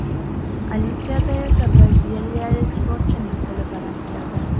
Olimpiada esa braziliyalik sportchining qo‘li baland keldi.